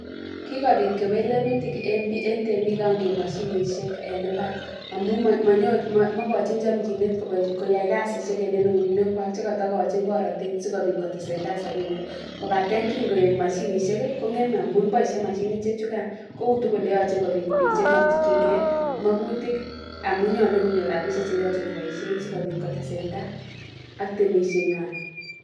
Kikobit kewelunotik eng temik kingeip moshinishek en mbar amun maigochin chamchinet koyai kasisiek eng eunekwai chekatagochin borotet sikobit kotesetai sobenwai. kopate kingeip mashinishek, kong'emei amun boishei mashinishechukan koutu kole yachei kobit biik makchingei magutik amun nyolu konyor rapishek che yachei koboishe sikotesetai ak temisheng'wai.